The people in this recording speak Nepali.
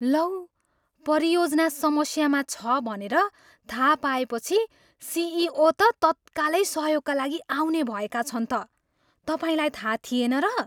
लौ, परियोजना समस्यामा छ भनेर थाहा पाएपछि सिइओ त तत्कालै सहयोगका लागि आउने भएका छन् त! तपाईँलाई थाहा थिएन र?